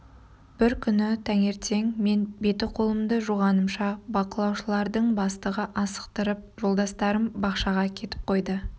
бір күні таңертең мен беті-қолымды жуғанымша бақылаушылардың бастығы асықтырып жолдастарым бақшаға кетіп қойды